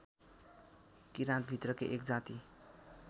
किरात भित्रकै एक जाति